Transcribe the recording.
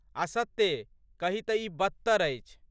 आ सत्ते कही तँ ई बदतर अछि।